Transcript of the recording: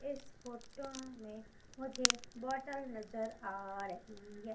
इस फोटो में मुझे बॉटल नजर आ रही है।